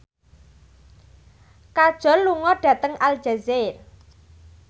Kajol lunga dhateng Aljazair